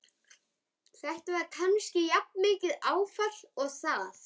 Þetta var kannski jafnmikið áfall og það.